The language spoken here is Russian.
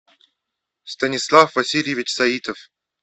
станислав васильевич саитов